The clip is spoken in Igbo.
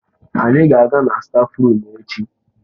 Anyị ga-aga na stáfruum echi.